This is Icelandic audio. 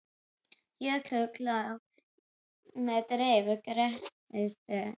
Jökulrákuð klöpp með dreif af grettistökum.